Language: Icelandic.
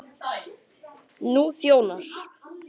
Elsku besti stóri bróðir minn.